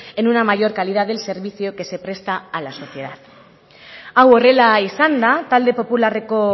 en una mayor calidad del servicio que se presta a la sociedad hau horrela izanda talde popularreko